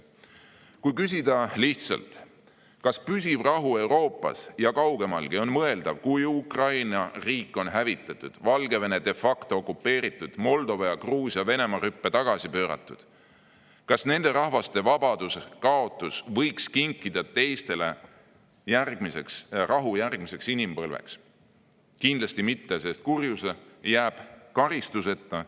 Kui küsida lihtsalt, kas püsiv rahu Euroopas ja kaugemalgi on mõeldav, kui Ukraina riik on hävitatud, Valgevene de facto okupeeritud, Moldova ja Gruusia Venemaa rüppe tagasi pööratud; kas nende rahvaste vabaduse kaotus võiks kinkida teistele rahu järgmiseks inimpõlveks, siis kindlasti mitte, sest kurjus jääb karistuseta.